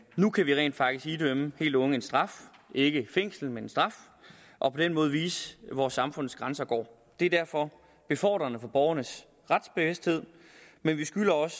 nu kan vi rent faktisk idømme helt unge en straf ikke fængsel men en straf og på den måde vise hvor samfundets grænser går det er derfor befordrende for borgernes retsbevidsthed men vi skylder også